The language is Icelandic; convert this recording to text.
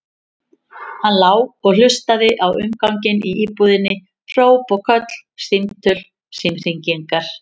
Hann lá og hlustaði á umganginn í íbúðinni, hróp og köll, símtöl, símhringingar.